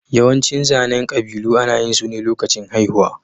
Yawancin zanen ƙabilu ana yin su ne lokacin haihuwa.